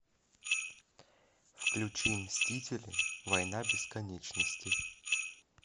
включи мстители война бесконечности